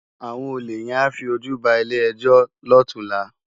Áwòn ólé yèn á fi ójú bá ilé èjò lòtúnlá